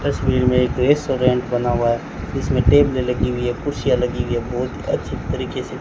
तस्वीर में एक रेस्टोरेंट बना हुआ है जिसमें टेबले लगी हुई है कुर्सियां लगी हुई है बहोत अच्छी तरीके से--